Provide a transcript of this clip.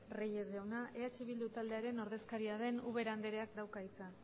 reyes jauna eh bildu taldearen ordezkaria den ubera andreak dauka hitza